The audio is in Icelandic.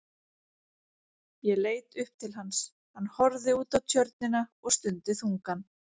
Ég leit upp til hans, hann horfði út á Tjörnina og stundi þungan.